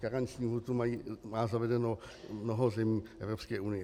Karenční lhůtu má zavedeno mnoho zemí Evropské unie.